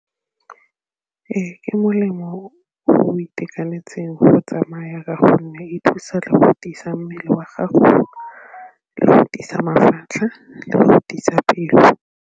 Ee, ke molemo o itekanetseng go tsamaya ka gonne e thusa mmele wa gago le go godisa mafatlha le go pelo.